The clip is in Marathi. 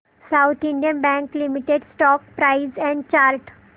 south Indian Bank limited stock price and chart